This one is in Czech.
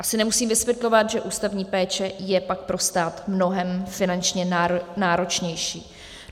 Asi nemusím vysvětlovat, že ústavní péče je pak pro stát mnohem finančně náročnější.